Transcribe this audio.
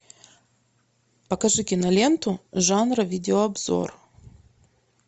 покажи киноленту жанра видеообзор